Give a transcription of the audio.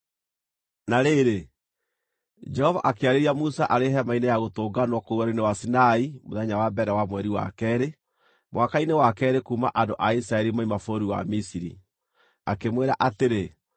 Na rĩrĩ, Jehova akĩarĩria Musa arĩ Hema-inĩ ya Gũtũnganwo kũu Werũ-inĩ wa Sinai mũthenya wa mbere wa mweri wa keerĩ, mwaka-inĩ wa keerĩ kuuma andũ a Isiraeli moima bũrũri wa Misiri. Akĩmwĩra atĩrĩ: